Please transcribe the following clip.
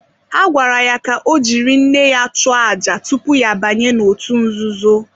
Ha gwara ya ka ọ jiri nne ya chụọ àjà tupu ya abanye n’òtù nzuzo.